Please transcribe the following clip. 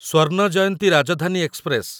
Swarna Jayanti Rajdhani express